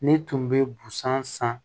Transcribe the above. Ne tun bɛ busan san